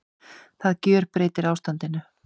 Það gjörbreytir ástandinu